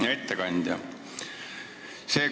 Hea ettekandja!